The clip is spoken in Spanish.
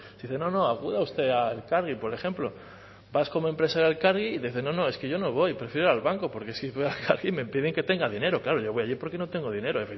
dicen no no acuda usted a elkargi por ejemplo vas como empresa a elkargi y dicen no es que yo no voy prefiero ir al banco porque si voy aquí me piden que tenga dinero claro yo voy allí porque no tengo dinero